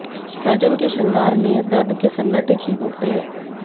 सृजन के शृंगार में दर्द के सन्नाटे चीख उठते